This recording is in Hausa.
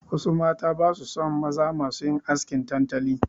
Wasu mata basu son maza masu yin askin tantali.